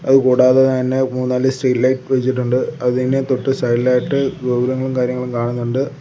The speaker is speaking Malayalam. അത് കൂടാതെ തന്നെ മൂന്നാല് സ്ട്രീറ്റ് ലൈറ്റ് വെച്ചിട്ടുണ്ട് അതിന് തൊട്ട് സൈഡിലായിട്ട് ഗോപുരങ്ങളും കാര്യങ്ങളും കാണുന്നുണ്ട്.